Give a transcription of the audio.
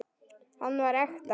Hann var ekta.